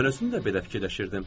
Mən özüm də belə fikirləşirdim.